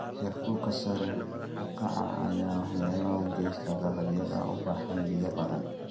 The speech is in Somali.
Heerkulka sare u kaca ayaa waxyeelo u geysta dalagyada u baahan biyo badan.